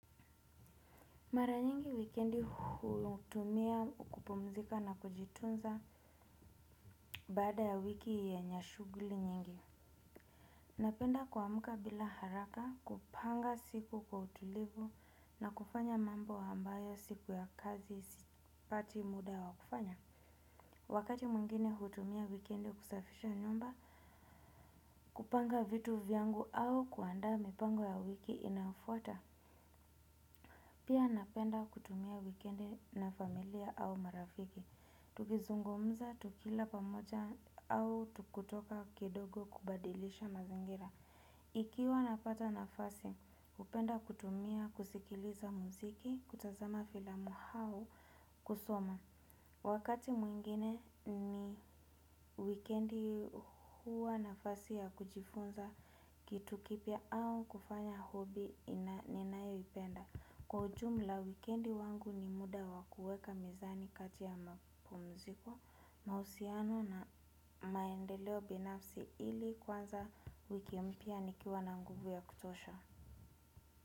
Mara nyingi wikendi hutumia kupumzika na kujitunza baada ya wiki yenye shughuli nyingi. Napenda kuamka bila haraka kupanga siku kwa utulivu na kufanya mambo ambayo siku ya kazi sipati muda wa kufanya. Wakati mwingine hutumia wikendi kusafisha nyumba, kupanga vitu vyangu au kuandaa mipango ya wiki inayofuata. Pia napenda kutumia wikendi na familia au marafiki. Tukizungumuza, tukila pamoja au tukitoka kidogo kubadilisha mazingira. Ikiwa napata nafasi, hupenda kutumia kusikiliza muziki, kutazama filamu au kusoma. Wakati mwingine ni wikendi huwa nafasi ya kujifunza kitu kipya au kufanya hobby ninayoipenda. Kwa ujumla, wikendi wangu ni muda wa kuweka mizani kati ya mapumziko, mahusiano na maendeleo binafsi ili kuanza wiki mpya nikiwa na nguvu ya kutosha.